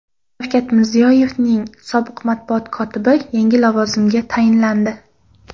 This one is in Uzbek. Shavkat Mirziyoyevning sobiq matbuot kotibi yangi lavozimga tayinlandi.